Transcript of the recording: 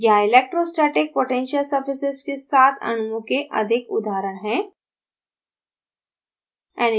यहाँ electrostatic potential surfaces के साथ अणुओं के अधिक उदाहरण हैं